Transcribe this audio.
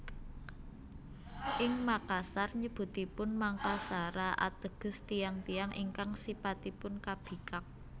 Ing Makassar nyebutipun Mangkasara ateges Tiyang tiyang ingkang sipatipun kabikak